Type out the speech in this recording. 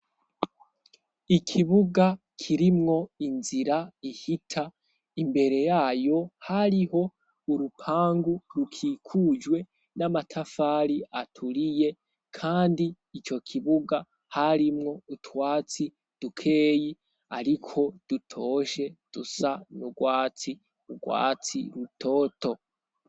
ikibuga kirimwo inzira ihita imbere yayo hariho urupangu rukikujwe n'amatafari aturiye kandi ico kibuga harimwo utwatsi dukeyi ariko dutoshe dusa n'ugwatsi ugwatsi rutoto